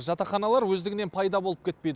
жатақханалар өздігінен пайда болып кетпейді